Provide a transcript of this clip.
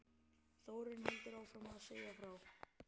Þórunn heldur áfram að segja frá